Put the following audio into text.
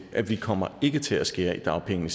at vi kommer ikke til at skære i dagpengene